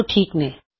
ਤੇ ਇਹ ਓਕ ਹੈ